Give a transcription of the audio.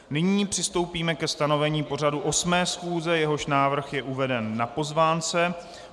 Nyní přistoupíme ke stanovení pořadu 8. schůze, jehož návrh je uveden na pozvánce.